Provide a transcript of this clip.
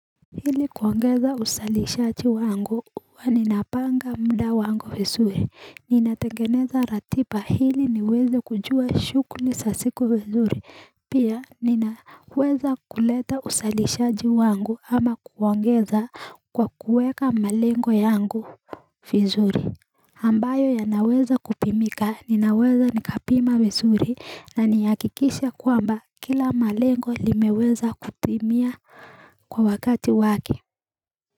Ili kuongeza uzalishaji wangu huwa ninapanga muda wangu vizuri ninategengeza ratiba ili niweze kujua shughuli za siku vizuri pia ninaweza kuleta uzalishaji wangu ama kuongeza kwa kuweka malengo yangu vizuri ambayo yanaweza kupimika ninaweza nikapima vizuri na nihakikisha kwamba kila malengo limeweza kupimia kwa wakati wake.